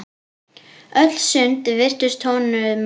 Öll sund virtust honum lokuð.